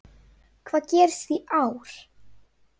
Hvað gerist í ár?